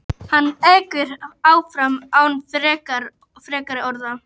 Hann ekur áfram án frekari orða.